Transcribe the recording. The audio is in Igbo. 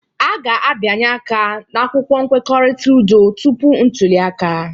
A ga-abịanye aka n'akwụkwọ nkwekọrịta udo tupu ntuli aka